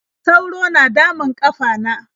sauro na damun ƙafana.